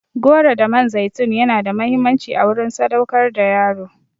Goro da man zaitun yana da muhimmanci a wurin sadaukar da yaro.